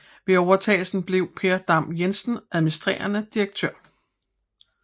Ved overtagelsen blev Per Dam Jensen administrerende direktør